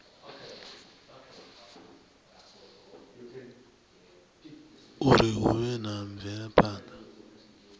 uri hu vhe na mvelaphana